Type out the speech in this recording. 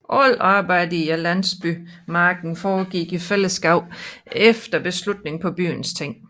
Alt arbejdet i landsbymarken foregik i fællesskab efter beslutning på byens ting